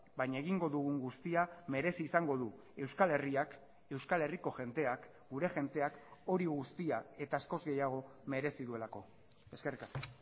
baina egingo dugun guztia merezi izango du euskal herriak euskal herriko jendeak gure jendeak hori guztia eta askoz gehiago merezi duelako eskerrik asko